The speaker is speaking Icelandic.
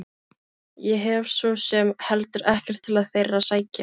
Ég hef svo sem heldur ekkert til þeirra að sækja.